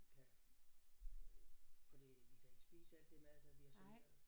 Kan øh fordi vi kan ikke spise alt det mad der bliver serveret